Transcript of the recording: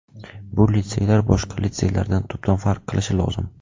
Bu litseylar boshqa litseylardan tubdan farq qilishi lozim.